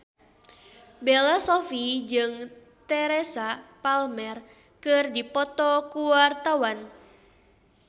Bella Shofie jeung Teresa Palmer keur dipoto ku wartawan